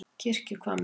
Kirkjuhvammi